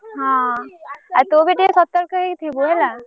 ହଁ ଆଉ ତୁ ବି ଟିକେ ସତର୍କ ହେଇକି ଥିବୁ ହେଲା।